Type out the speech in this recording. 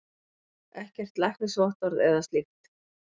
Ekkert læknisvottorð eða slíkt.